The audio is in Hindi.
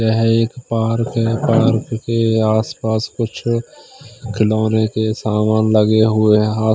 यह एक पार्क है पार्क के आसपास कुछ खिलौने के समान लगे हुए हैं हा--